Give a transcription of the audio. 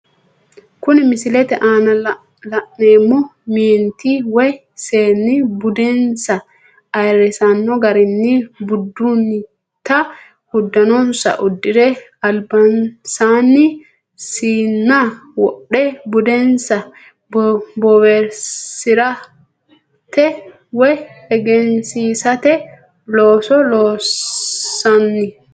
Kuni misilete aana la'neemo meeniti woyi seeni budeensa ayirisino garinni budunita udano'nsa udire aliba'nsanni siina wodhe budenisa bowirisate woyi eggensiisate looso loosino